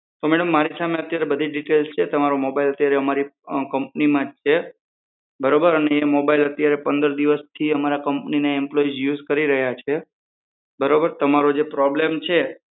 તો મારી સામે અત્યારે બધી ડીટેલ છે તમારો mobile અમારી કંપનીમાં જ છે બરોબર અને એ mobile અત્યારે પંદર દિવસથી અમારા કંપનીના એમ્પ્લોય યુઝ કરી રહ્યા છે બરોબર તમારો જે problem છે.